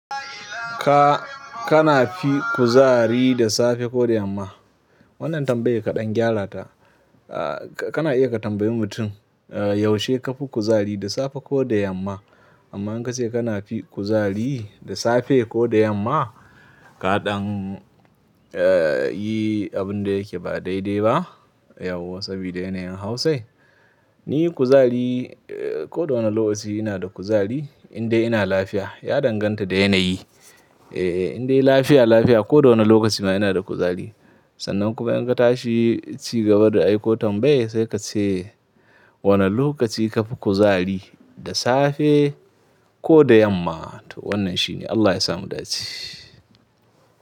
Ka, kana fi kuzari da safe ko da yamma? Wannan tambayar kaɗan gyara ta. Ah, ka, kana iya ka tambayi mutum, ah, yaushe ka fi kuzari, da safe ko da yamma? Amma in ka ce kana fi kuzari da safe ko da yamma, kaɗan, ah, yi abun da yake ba daidai ba. Yauwa sabida yanayin Hausai. Ni kuzari, ah, ko da wane lokaci ina da kuzari, in dai ina lafiya. Ya danganta da yanayi. Eh, in dai lafiya lafiya, ko da wane lokaci ma ina da kuzari. Sannan kuma in ka tashi cigaba da aiko tambayai, sai ka ce wane lokaci ka fi kuzari, da safe ko da yamma. To wannan shine. Allah ya sa mu dace.